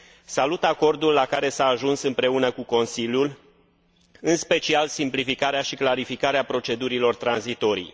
Salut acordul la care s a ajuns împreună cu Consiliul, în special simplificarea și clarificarea procedurilor tranzitorii.